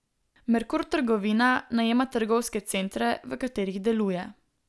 Merkur trgovina najema trgovske centre, v katerih deluje.